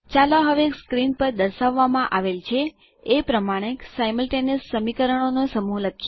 ચાલો હવે સ્ક્રીન પર દર્શાવવામાં આવેલ છે એ પ્રમાણે સિમલ્ટેનિયસ સમીકરણોનો સમૂહ લખીએ